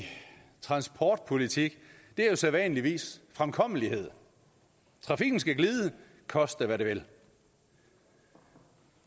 transportpolitik er jo sædvanligvis fremkommelighed trafikken skal glide koste hvad det vil